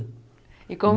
E como